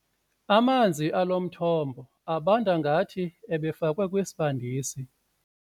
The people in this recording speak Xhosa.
Amanzi alo mthombo abanda ngathi ebefakwe kwisibandisi.